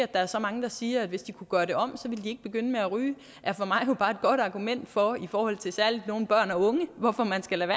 der er så mange der siger at hvis de kunne gøre det om så ville de ikke begynde med at ryge er for mig jo bare et godt argument for særlig i forhold til nogle børn og unge at man skal lade